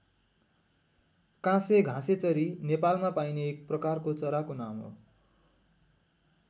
काँसे घाँसेचरी नेपालमा पाइने एक प्रकारको चराको नाम हो।